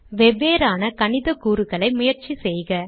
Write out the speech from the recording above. வெவ்வேறான கணிதக்கூறுகளை முயற்சி செய்க